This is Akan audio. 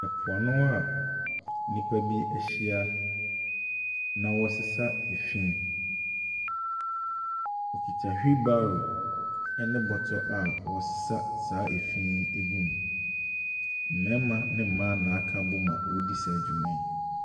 Ɛpoano a nnipa bi ahyia na ɔresesa efinn. Ɔkuta wheel barrow ɛne bɔtɔ a ɔresesa saa efin yi egu mu. Mmarima ne mmaa na akabom a ɔredi saa dwuma yi.